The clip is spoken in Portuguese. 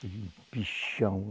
Que bichão.